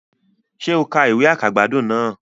Sé o ka ìwé àkàgbádùn náà